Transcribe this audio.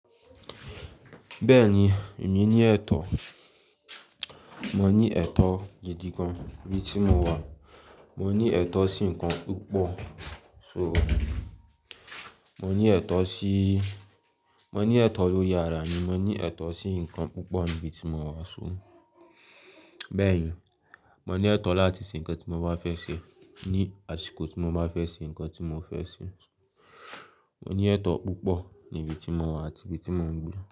Bẹ́ẹ̀ni, èmi ní ẹ̀tọ́. Mo ní ẹ̀tọ́ ìdí kan níbi tí mo wà. Mo ní ẹ̀tọ́ sí nǹkan púpọ̀. So, mo ní ẹ̀tọ́ síí, mo ní ẹ̀tọ́ lóri ara mi. Mo ní ẹ̀tọ́ sí nǹkan púpọ̀ níbi tí mo wà. So, bẹ́ẹ̀ni, mo ní ẹ̀tọ́ láti ṣe nǹkan tí mo bá fẹ́ ṣe ní àsìkò tí mo bá fẹ́ ṣe nǹkan tí mo fẹ́ ṣe. Mo ní ẹ̀tọ́ púpọ̀ níbi tí mo wà àti ibi tí mo ń gbé.